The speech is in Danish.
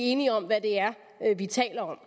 enige om hvad det er vi taler